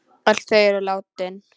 Öll eru þau látin.